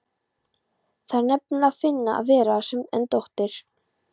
Það er nefnilega fínna að vera sen en dóttir.